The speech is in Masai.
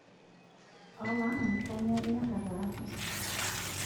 amaa kainyio inyorr ataasa?